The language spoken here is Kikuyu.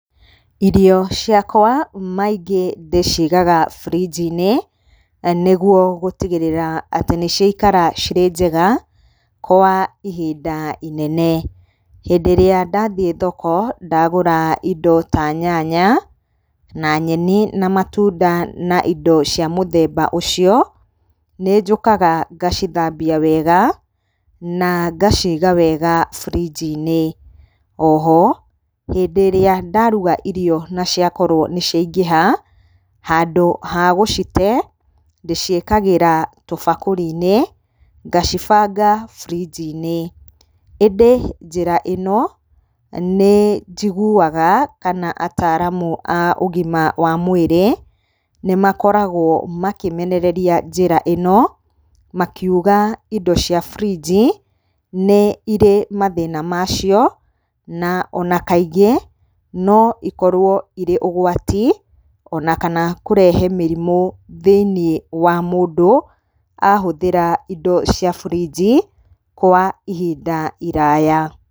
Irio ciakwa maingĩ ndĩcigaga burinji-inĩ, nĩguo gũtigĩrĩra atĩ nĩciaikara irĩ njega kwa ihinda inene. Hĩndĩ ĩrĩa ndathiĩ thoko ndagũra indo ta nyanya, na nyeni, na matunda na indo cia mũthemba ũcio, nĩnjũkaga ngacithambia wega na ngaciga wega burinji-inĩ. O ho hĩndĩ ĩrĩa ndaruga irio na ciakorwo nĩciaingĩha, handũ ha gũcite ndĩciĩkĩraga tũbakũri-inĩ ngacibanga burinji-inĩ. Ĩndĩ njĩra ĩno njiguaga kana ataramu a ũgima wa mwĩrĩ nĩmakoragwo makĩmenereria njĩra ĩno, makiuga indo cia burinji nĩ irĩ mathĩna macio, na ona kaingĩ no ikorwo irĩ ũgwati ona kana kũrehe mĩrimũ thĩiniĩ wa mũndũ ahũthĩra indo cia burinji kwa ihinda iraya.